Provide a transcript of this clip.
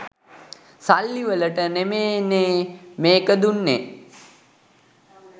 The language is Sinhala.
සල්ලි වලට නෙමේනේ මේක දුන්නේ.